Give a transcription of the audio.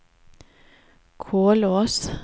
Kolsås